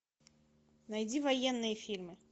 найди военные фильмы